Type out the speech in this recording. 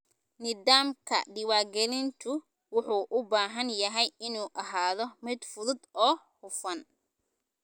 Nidaamka diiwaangelintu wuxuu u baahan yahay inuu ahaado mid fudud oo hufan.